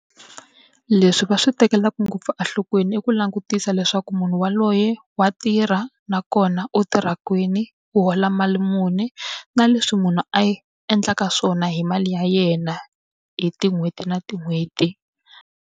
Leswi va swi tekelaka ngopfu enhlokweni i ku langutisa leswaku munhu yaloye wa tirha, nakona u tirha kwini, u hola mali muni, na leswi munhu a endlaka swona hi mali ya yena hi tin'hweti na tin'hweti.